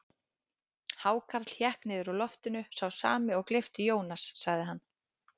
Hákarl hékk niður úr loftinu, sá sami og gleypti Jónas, sagði hann.